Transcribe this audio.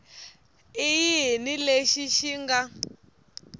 i yini lexi xi nga